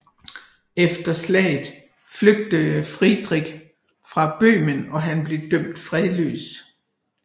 Efter slaget flygtede Friedrich fra Bøhmen og han blev dømt fredløs